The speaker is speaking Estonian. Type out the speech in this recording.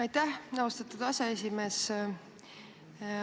Aitäh, austatud aseesimees!